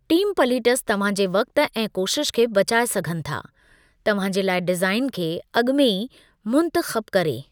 Templates तव्हां जे वक़्ति ऐं कोशिश खे बचाई सघनि था तव्हां जे लाइ डिज़ाइन खे अॻु में ई मुंतख़बु करे।